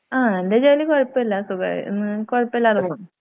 ആ എന്റെ ജോലി കൊഴപ്പല്ല സുഖായി ന്ന് കുഴപ്പമില്ലാതെ പോവുന്നു.